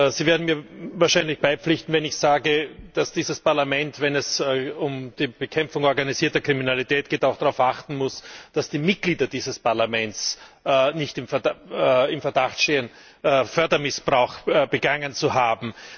Sie werden mir wahrscheinlich beipflichten, wenn ich sage, dass dieses Parlament, wenn es um die Bekämpfung organisierter Kriminalität geht, auch darauf achten muss, dass die Mitglieder dieses Parlaments nicht im Verdacht stehen, Fördermissbrauch begangen zu haben.